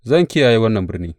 Zan kiyaye wannan birni.